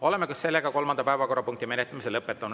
Oleme kolmanda päevakorrapunkti menetlemise lõpetanud.